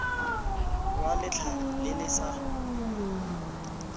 wa letlhare le le sa